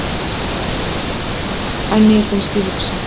En mér finnst ég hugsa.